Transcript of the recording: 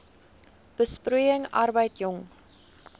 besproeiing arbeid jong